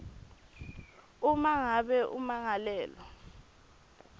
uma ngabe ummangalelwa